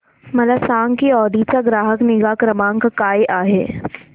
मला सांग की ऑडी चा ग्राहक निगा क्रमांक काय आहे